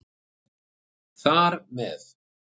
Þar með